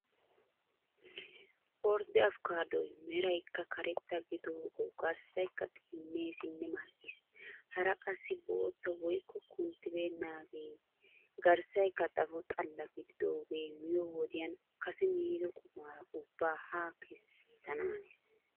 Ordde afikaadoy meraykka karetta gididoogawu garssaykka xiinneesinne mal"ees. Hara qassi bootta woykko kunttibeennaagee garssaykka xapho xalla gididoogee miyoo wodiyan kase miido qumaara ubbaa haa kessanaanees.